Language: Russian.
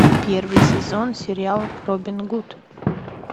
первый сезон сериал робин гуд